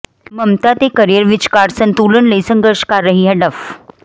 ਮਮਤਾ ਤੇ ਕੈਰੀਅਰ ਵਿਚਕਾਰ ਸੰਤੁਲਨ ਲਈ ਸੰਘਰਸ਼ ਕਰ ਰਹੀ ਹੈ ਡਫ